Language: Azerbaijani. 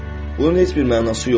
Bunun heç bir mənası yoxdur.